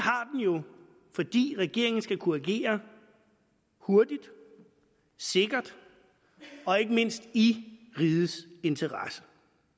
fordi regeringen skal kunne agere hurtigt sikkert og ikke mindst i rigets interesse